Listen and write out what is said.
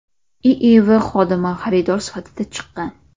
IIV xodimi xaridor sifatida chiqqan.